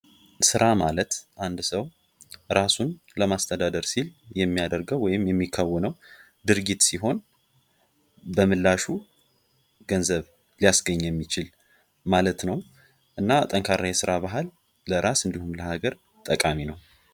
ስራ ማለት አንድ ራሱን ሰው ለማስተዳደር ሲል የሚያደርገው ወይም የሚካውነው ድርጊት ሲሆን በምላሹ ገንዘብ ሊያስገኝ ማለት ነው እና ጠንካራ የስራ ባህል ለራስ እንዲሁም ለሀገር ጠቃሚ ነው።